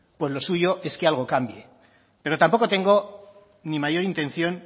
pues lo suyo es que algo cambie pero tampoco tengo ni mayor intención